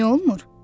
Niyə olmur?